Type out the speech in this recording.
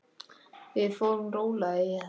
Við förum rólega í þetta.